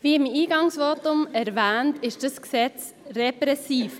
Wie im Eingangsvotum erwähnt, ist dieses Gesetz repressiv.